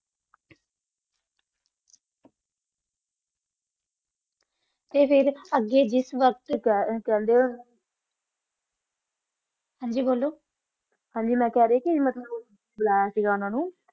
ਤਾ ਫਿਰ ਅਗ ਜਿਸ ਵਾਕ਼ਾਤ ਹਨ ਜੀ ਬੋਲੋ ਹਨ ਓਨਾ ਕਿਸ ਕਰ ਕਾ ਬੋਲਿਆ ਸੀ ਓਨਾ ਨੂ ਤਾ ਅਗ ਜਿਸ ਵਾਕ਼ਾਤ